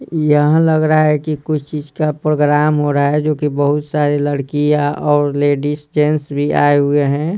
यहाँ लग रहा है कि कुछ चीज का प्रोग्राम हो रहा है जोकि बहुत सारे लड़कियां और लेडीज जेंट्स भी आए हुए हैं।